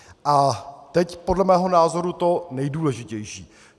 A teď podle mého názoru to nejdůležitější.